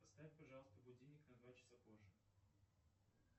поставь пожалуйста будильник на два часа позже